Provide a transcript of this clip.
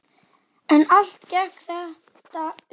En allt gekk þetta upp.